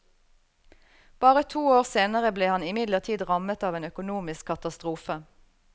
Bare to år senere ble han imidlertid rammet av en økonomisk katastrofe.